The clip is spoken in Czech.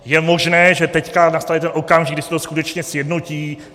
Je možné, že teď nastane ten okamžik, kdy se to skutečně sjednotí.